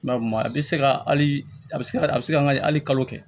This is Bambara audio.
a bɛ se ka hali a bɛ se ka a bɛ se ka hali kalo kɛ